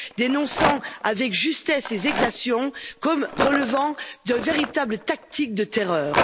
dénonçant avec justesse ces exactions comme relevant d'une véritable tactique de terreur.